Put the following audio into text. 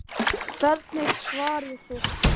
Hvernig svarið þið því?